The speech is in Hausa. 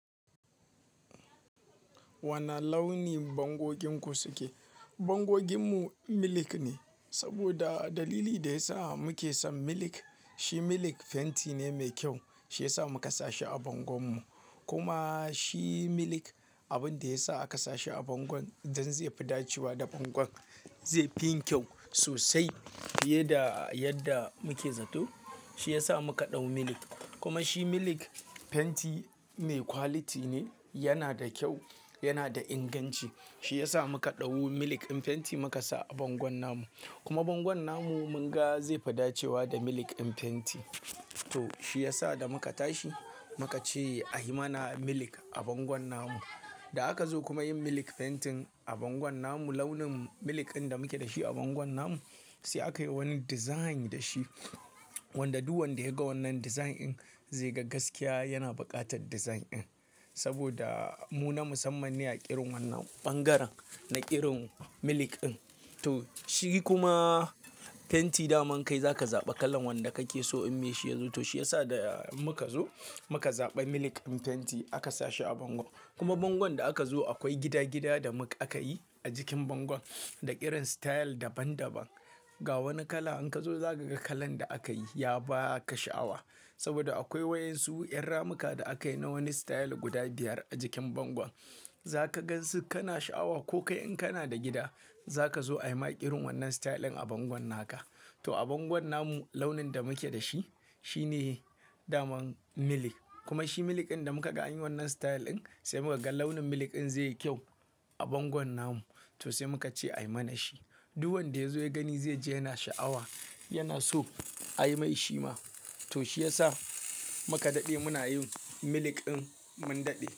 Wane launi bangoginku suke? Bangoginmu milk ne, saboda dalili da ya sa muke son milk, shi milk fenti ne mai kyau. Shi ya sa muka sa shi a bangon mu. Kuma shi milk abin da ya sa aka sa shi a bangon don zai fi dacewa da bangon. Zai fi yin ƙyau sosai fiye da yadda muke zato. Shi ya sa muka ɗau milk. Kuma shi milk fenti mai quality ne, yana da kyau, yana da inganci. Shi ya sa muka ɗau milk ɗin fenti muka sa a bangon namu. Kuma bangon namu mun ga zai fi dacewa da milk ɗin fenti. To shi ya sa da muka tashi muka ce a yi mana milk a bangon namu. Da aka zo kuma yin milk fentin a bangon namu, launin milk ɗin da muke da shi a bangon namu sai aka yi wani design da shi. Wanda duk wanda ya ga wannan design ɗin zai ga gaskiya yana buƙatar design ɗin. Saboda mu na musamman ne a ƙirin wannan ɓangaren, na ƙirin milk ɗin. To shi kuma fenti daman kai za ka zaɓa kalan wanda kake so in me shi ya zo. To shi ya sa in muka zo muka zaɓi milk ɗin fenti aka sa shi a bango. Kuma bangon da aka zo akwai gida-gida da aka yi a jikin bangon da ƙirin style daban-daban. Ga wani kala in ka zo za ka ga kalan da aka yi ya ba ka sha'awa. Saboda akwai wayan su 'yan ramuka da aka yi na wani style guda biyar a jikin bangon. Za ka gan su kana sha'awa ko kai in kana da gida za ka zo ayi ma ƙirin wannan style ɗin a bangon naka. To a bangon namu launin da muke da shi shine daman milk. Kuma shi milk ɗin da muka ga an yi wannan style ɗin sai muka ga launin milk ɗin zai yi ƙyau a bangon namu to sai muka ce a yi mana shi. Duk wanda ya zo ya gani zai ji yana sha'awa, yana so a yi mai shi ma. To shi ya sa muka daɗe muna yin milk ɗin mun daɗe.